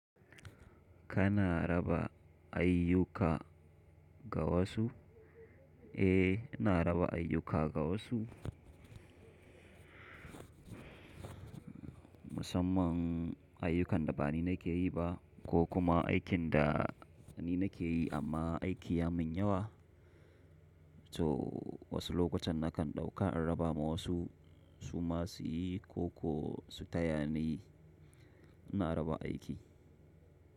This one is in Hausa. Kana raba ayyuka ga wasu? Eh, ina raba ayyuka ga wasu. Musamman ayyukan da ba ni nake yi ba ko kuma aikin da ni nake yi amma aiki ya min yawa. To wasu lokutan nakan ɗauka in raba ma wasu su ma su yi koko su taya niyi. Ina raba aiki.